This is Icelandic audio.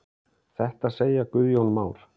Þetta segja Guðjón Már.